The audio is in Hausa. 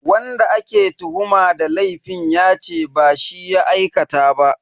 Wanda ake tuhuma da laifin yace ba shi ya aikata ba.